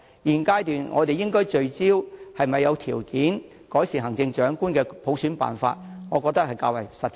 現階段我們應聚焦是否有條件改善行政長官的普選辦法，才較為實際。